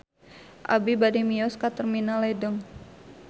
Abi bade mios ka Terminal Ledeng